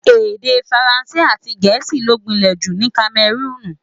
Èdè Faransé àti ti Gẹ̀ẹ́sì ló gbìnlè jù ní Kamẹrúùnù.